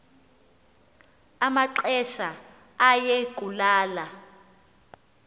amaxesha aye kulala